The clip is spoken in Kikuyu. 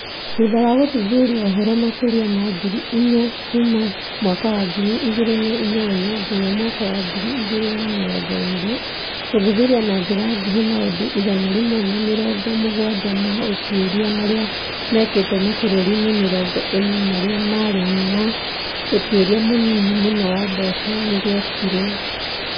Thutha wa gũthuthuria ũhoro makĩria ma ngiri inya kuuma mwaka wa ngiri igĩrĩ na inyanya nginya mwaka wa ngiri igĩrĩ na mĩrongo ĩĩrĩ, gũthuthuria na njĩra nguhĩ maũndũ igana rĩmwe na mĩrongo mũgwanja ma ũtuĩria marĩa mekĩtwo mabũrũri-inĩ mĩrongo ĩna marĩa marĩ na ũtuĩria mũnini mũno wa mbeca, nĩ gwekirwo.